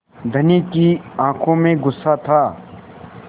धनी की आँखों में गुस्सा था